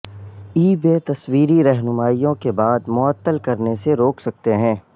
ای بے تصویری رہنمائیوں کے بعد معطل کرنے سے روک سکتے ہیں